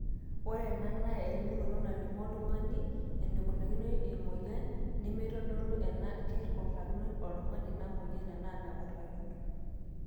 ore ena naa elimunoto nalimu oltung'ani eneikunakino emweyian nemeitodolu enaa kekurakino oltung'ani ina mweyian enaa mekurakino